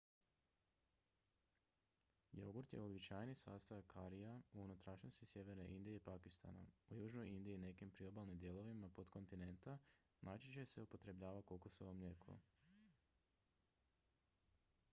jogurt je uobičajeni sastojak karija u unutrašnjosti sjeverne indije i pakistana u južnoj indiji i nekim priobalnim dijelovima potkontinenta najčešće se upotrebljava kokosovo mlijeko